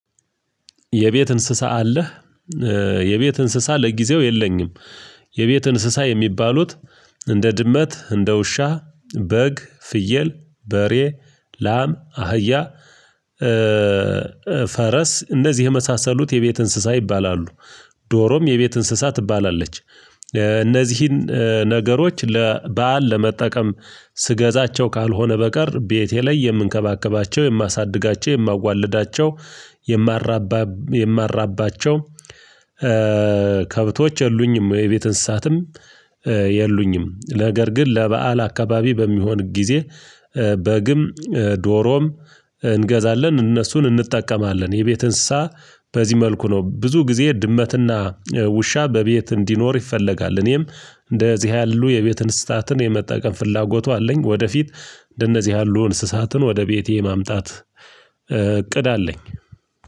የቤት እንስሳ አለህ የቤት እንስሳ ለጊዜው የለኝም። የቤት እንስሳ የሚባሉት እንደ ድመት፣ እንደ ውሻ፣ በግ፣ ፍየል፣ በሬ፣ ላም፣ አህያ ፈረስ እነዚህ የመሳሰሉት የቤት እንስሳ ይባላሉ ዶሮም የቤት እንስሳ ትባላለች። እነዚህን ነገሮች ለበአል ለመጠቀም ትገዛቸው ካልሆነ በቀር ቤቴ ላይ የምንከባከባቸው፣ የማሳድጋቸው፣ የማዋልዳቸው፣ የማራባ የማራባቸው ከብቶች የሉኝም። የቤት እንስሳትም የሉኝም ነገር ግን ለበአል አካባቢ በሚሆን ጊዜ በግም ዶሮም እንገዛለን እነሱን እንጠቀማለን የቤት እንስሳ በዚህ መልኩ ነው ብዙ ጊዜ ድመትና ውሻ በቤት እንዲኖር ይፈለጋል። እኔም እንደዚህ ያሉ የቤት እንስሳትን የመጠቀም ፍላጎቱ አለኝ ወደፊት እንደነዚህ ያሉ እንስሳትን ወደ ቤቴ ማምጣት እቅድ አለኝ።